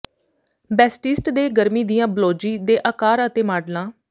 ਬੈਸਟਿਸਟ ਦੇ ਗਰਮੀ ਦੀਆਂ ਬਲੌਜੀ ਦੇ ਆਕਾਰ ਅਤੇ ਮਾਡਲਾਂ